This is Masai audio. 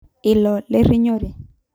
ilo lerinyore.